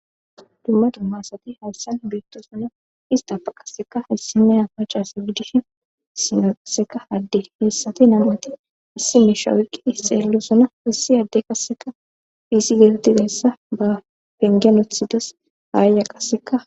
Dumma dumma asati hayssan beettosona istapa qaseka issineya maca assa giddishin issinaya qasseka adde heessati nam7ati issi misha oyqidi dossona issi adde qasseka missilen dizayssa ba pengen uttides ayya qasseka